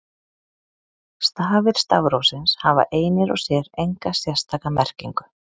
Stafir stafrófsins hafa einir og sér enga sérstaka merkingu.